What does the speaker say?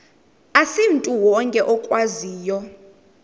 asimntu wonke okwaziyo